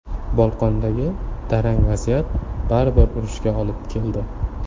Bolqondagi tarang vaziyat baribir urushga olib keldi.